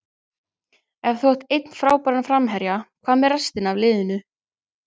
Ef þú átt einn frábæran framherja, hvað með restina af liðinu?